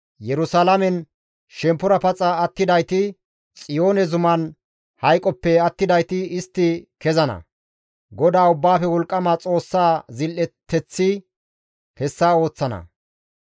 Yerusalaamen shemppora paxa attidayti, Xiyoone zuman hayqoppe attidayti istti kezana. GODAA Ubbaafe Wolqqama Xoossaa zil7eteththi hessa ooththana.›